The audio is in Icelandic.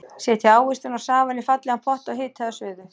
Setjið ávextina og safann í fallegan pott og hitið að suðu.